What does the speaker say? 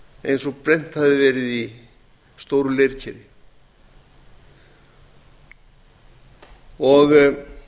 eins og brennt hefði verið í stóru leirkeri það er